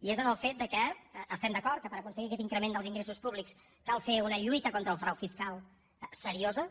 i és en el fet que estem d’acord que per aconseguir aquest increment dels ingressos públics cal fer una lluita contra el frau fiscal seriosa